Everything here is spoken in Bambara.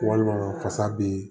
Walima fasa bi